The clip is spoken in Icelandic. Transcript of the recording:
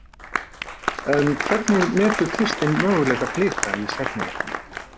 En hvernig metur Kristinn möguleika Blika í seinni leiknum?